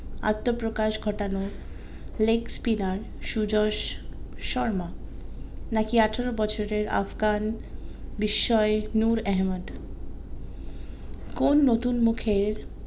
আত্মপ্রকাশ ঘটানো leg spinner Suyash Sharma নাকি আঠারো বছরের আফগান বিস্ময়ের নূর আহমেদ কোন নতুন মুখের